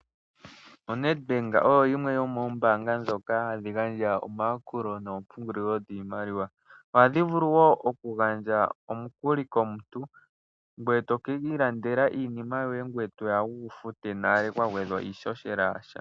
ONedbank Oyo yimwe yomoombaanga ndhoka hadhi gandja omayakulo dhiimaliwa. ohavulu oku gandja omukuli komuntu ngoye tokiilandela iinima yoye Toya ufute nale kwagwedhwa iishoshela yasha